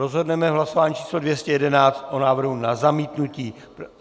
Rozhodneme v hlasování číslo 211 o návrhu na zamítnutí.